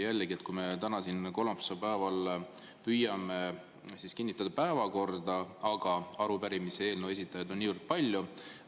Jällegi, me täna siin kolmapäevasel päeval püüame kinnitada päevakorda, aga arupärimiste ja eelnõude esitajaid on niivõrd palju.